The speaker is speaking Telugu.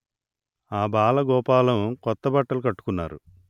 ఆ బాలగోపాలం కొత్తబట్టలు కట్టుకున్నారు